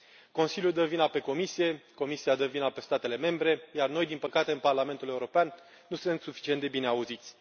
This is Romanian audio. Consiliul dă vina pe Comisie, Comisia dă vina pe statele membre, iar noi, din păcate, în Parlamentul European, nu suntem suficient de bine auziți.